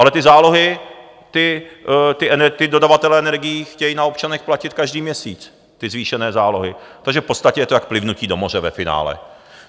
Ale ty zálohy ti dodavatelé energií chtějí na občanech platit každý měsíc, ty zvýšené zálohy, takže v podstatě je to jak plivnutí do moře ve finále.